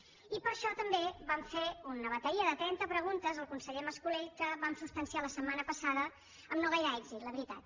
i per això també vam fer una bateria de trenta preguntes al conseller mas colell que vam substanciar la setmana passada amb no gaire èxit la veritat